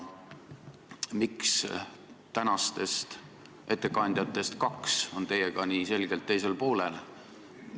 Miks tänastest ettekandjatest kaks on teiega võrreldes nii selgelt teisel poolel?